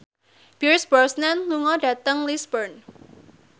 Pierce Brosnan lunga dhateng Lisburn